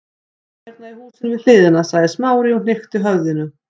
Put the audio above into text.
Já, hérna í húsinu við hliðina- sagði Smári og hnykkti höfðinu.